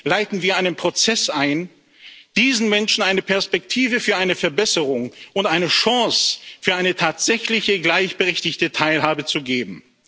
leiten wir einen Prozess ein, diesen Menschen eine Perspektive für eine Verbesserung und eine Chance für eine tatsächliche gleichberechtigte Teilhabe zu geben.